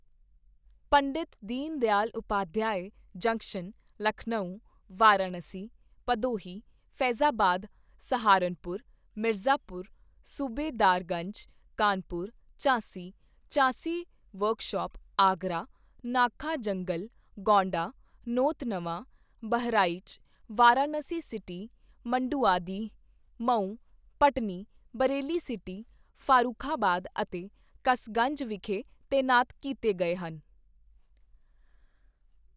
ਪੰਡਿਤ Deen Dayal Upadhyay junction, Lucknow, Varanasi, Bhadohi, Faizabad, Saharanpur, Mirzapur, Subedarganj, Kanpur, Jhansi, Jhansi workshop, Agra, Nakha Jungle, Gonda, Nautanwa, Bahraich, Varanasi city, Manduadih, Mau, Bhatni, Bareilly city, Farrukhabad ਅਤੇ ਕਸਗੰਜ ਵਿਖੇ ਤੈਨਾਤ ਕੀਤੇ ਗਏ ਹਨ।